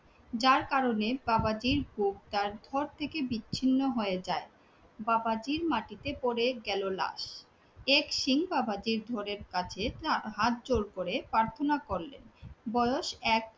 যার কারণে বাবাজির তার ধড় থেকে বিচ্ছিন্ন হয়ে যাই। বাবাজির মাটিতে পরে গেলো লাশ, এক সিং বাবাজির ধড়ের কাছে তার হাত জোর করে প্রার্থনা করলেন বয়স এক